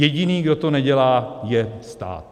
Jediný, kdo to nedělá, je stát.